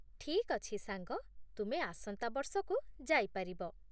ଠିକ୍ ଅଛି, ସାଙ୍ଗ, ତୁମେ ଆସନ୍ତା ବର୍ଷକୁ ଯାଇ ପାରିବ